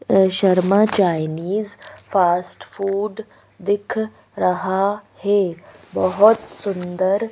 Sharma Chinese fast food दिख रहा है बहुत सुंदर--